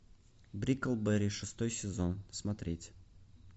бриклберри шестой сезон смотреть